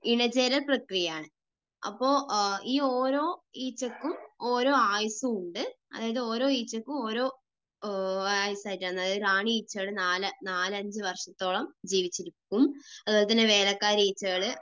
ഇണ ചേരൽ പ്രക്രിയയാണ്. അപ്പോൾ ഈ ഓരോ ഈച്ചയ്ക്കും ഓരോ ആയുസ്സും ഉണ്ട്. അതായത് ഓരോ ഈച്ചയ്ക്കും ഓരോ ആയുസായിട്ടാണ്. അതായത് റാണി ഈച്ചകൾ നാലഞ്ചു വർഷത്തോളം ജീവിച്ചിരിക്കും, അതുപോലെതന്നെ വേലക്കാരി ഈച്ചകൾ